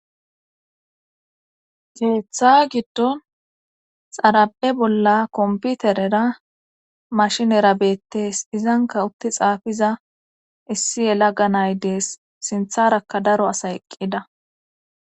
Keeththa giddon xara7e bolla komputerera mashinera beettees izanka utti xaafiza issi yela ga nay dees sintharakka daro asay eqqida.